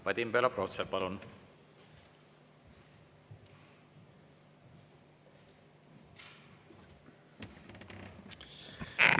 Vadim Belobrovtsev, palun!